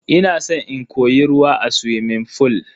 Ina san in koyi ruwa a suwimin fool.